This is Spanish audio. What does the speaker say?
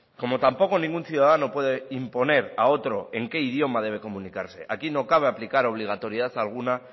como tampoco ningún ciudadano puede imponer a otro en qué idioma debe comunicarse aquí no cabe aplicar obligatoriedad alguna